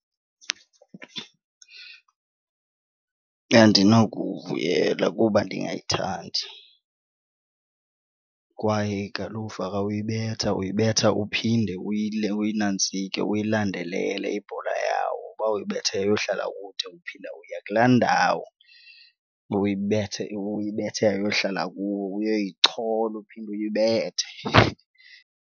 Andinokuwuvuyela kuba ndingayithandi kwaye igalufa xa uyibetha uyibetha uphinde uyinantsike uyilandelele ibhola yawo. Uba uyibethe yayohlala kude uphinda uya kulaa ndawo uyibethe yayohlala kuwo uyoyichola uphinde uyibethe.